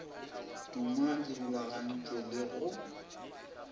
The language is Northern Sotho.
tuma di rulagantšwego le go